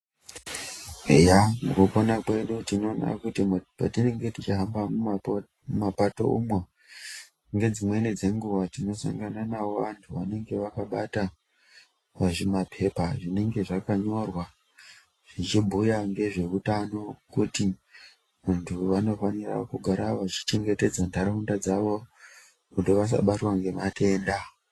Eya mukupona kwedu tinoona kuti patinenge tichihamba mumapato umwo, ngedzimweni dzenguva tinosangana navo vantu vanenge vakabata zvimapepa zvinenge zvakanyorwa. Zvichibhuya ngezveutano kuti vantu vanofanire kugara vachichengetedza ntaraunda dzavo kuti vasabatwa ngematenda.